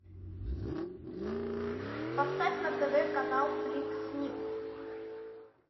поставь на тв канал флик снип